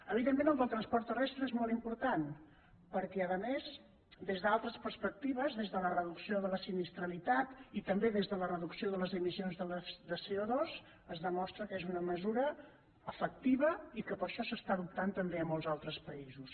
evidentment el del transport terrestre és molt important perquè a més des d’altres perspectives des de la reducció de la sinistralitat i també des de la reducció de les emissions de coefectiva i que per això s’adopta també a molts altres països